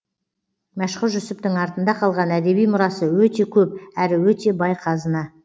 мәшһүр жүсіптің артында қалған әдеби мұрасы өте көп әрі өте бай қазына